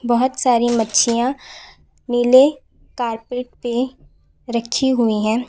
बहोत सारी मच्छिया नीले कारपेट पे रखी हुई है।